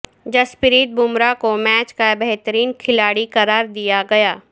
جسپریت بمراہ کو میچ کا بہترین کھلاڑی قرار دیا گیا